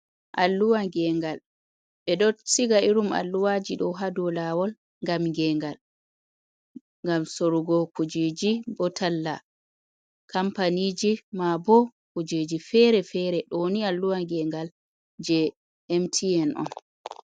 Alluwa gengal, ɓe ɗo siga irum alluwaji ɗo ha dow lawol gam gengal, gam sorugo kujeji, bo talla kampaniji ma bo kujeji fere fere ɗo ni alluwa gengal je mtn on.